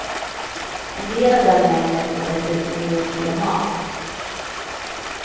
En del av den mängden får vi dessutom i oss via mat.